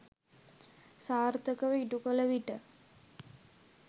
සාර්ථකව ඉටුකළ විට